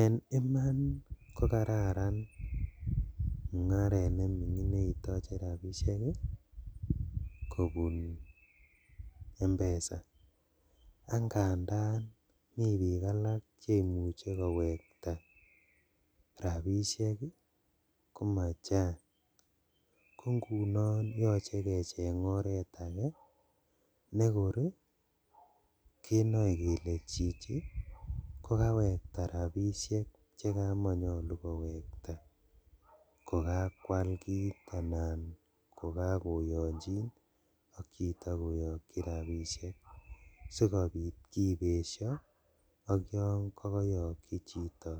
En iman kokararan mungaret nemingin neitoche rabishek kobun m-pesa, ak ngandan mi bik alak cheimuche kowekta rabishek ii komachang kongunon yoche kecheng oret ake nekor kenoe kele chichi kokawekta rabishek chekamanyolu kowekta kokakwal kit anan kokokoyonjin ak chito koyokji rabishek, sikobit kibesho ok yon kokoyokji chito